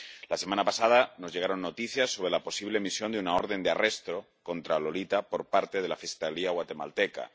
La semana pasada nos llegaron noticias sobre la posible emisión de una orden de arresto contra Lolita por parte de la fiscalía guatemalteca.